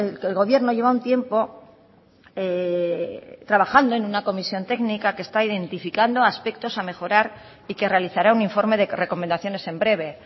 que el gobierno lleva un tiempo trabajando en una comisión técnica que está identificando aspectos a mejorar y que realizará un informe de recomendaciones en breve